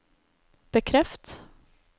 bekreft